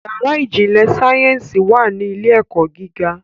Yàrá ìjìnlẹ̀ sáyẹ́nsì wà ní ilé - ẹ̀kọ́ gíga